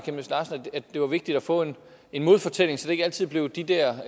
det var vigtigt at få en en modfortælling så det ikke altid blev de der